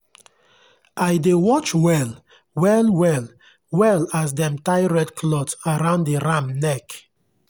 i dey watch well-well well-well as dem tie red cloth around the ram neck.